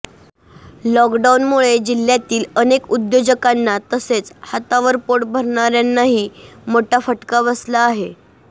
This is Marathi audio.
लॉकडाउनमुळे जिल्ह्यातील अनेक उद्योजकांना तसेच हातावर पोट भरणाऱ्यांनाही मोठा फटका बसला आहे